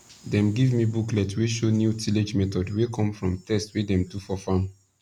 dem give me booklet wey show new tillage method wey come from test wey dem do for farm